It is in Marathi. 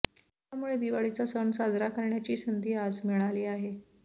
त्यामुळे दिवाळीचा सण साजरा करण्याची संधी आज मिळाली आहे